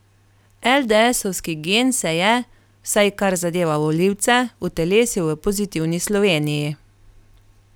Eldeesovski gen se je, vsaj kar zadeva volivce, utelesil v Pozitivni Sloveniji.